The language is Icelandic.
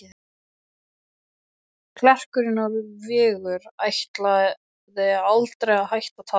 Klerkurinn úr Vigur ætlaði aldrei að hætta að tala.